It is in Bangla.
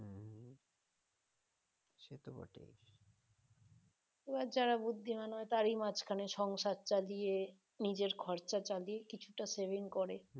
এবার যারা বুদ্ধিমান হয় তারাই সংসার চালিয়ে নিজের খরচা চালিয়ে কিছুটা সেভিং করে